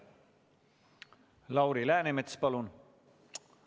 Lauri Läänemets, palun!